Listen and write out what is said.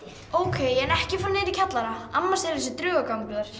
ókei en ekki fara niður í kjallara amma segir að sé draugagangur